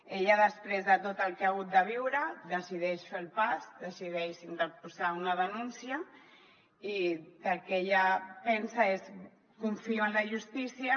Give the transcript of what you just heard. ella després de tot el que ha hagut de viure decideix fer el pas decideix interposar una denúncia i el que ella pensa és confio en la justícia